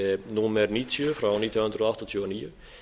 númer níutíu nítján hundruð áttatíu og níu